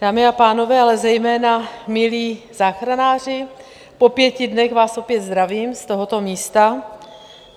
Dámy a pánové, ale zejména milí záchranáři, po pěti dnech vás opět zdravím z tohoto místa.